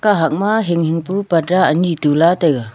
kahak mai hing hing pu parda ani Tula taiya.